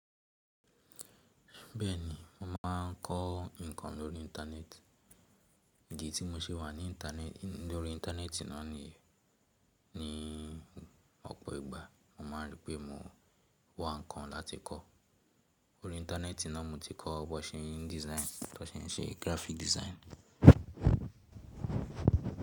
Bẹ́ẹ̀ni mo máà ń kọ́ ǹkan lórí Íńtánẹ́ẹ̀tì. Idi tí mo ṣe wà ní --intane, lórí Íńtánẹ́ẹ̀tì náà ni ọ̀pọ̀ ìgbà mo máa n rí pé mo wà ǹkan láti kọ́. Lórí Íńtánẹ́ẹ̀tì náà mo ti kọ́ bọ̀ ṣe n design, bo ṣe ń ṣe graphic design.